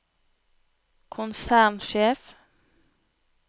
konsernsjef